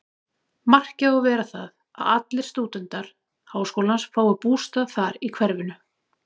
Markið á að vera það, að allir stúdentar háskólans fái bústað þar í hverfinu.